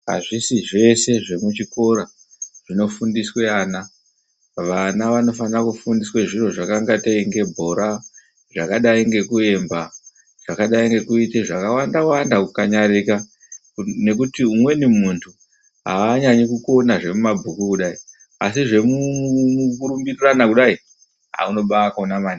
Azvisi zvese zvemuchikora zvinofundiswe ana. Vana vanofanira kufundiswa zviro zvakaingatei sebhora, zvakadayi ngekuemba, zvakadayi ngekuite zvakawanda wanda zvekukanyarika ngekuti umweni muntu aanyanyi kukona zvemumabhuku kudai asi zvemukurumbirirana kudayi haaa unobaakona maningi.